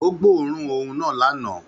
Ó gbóòórùn òun náà lánàá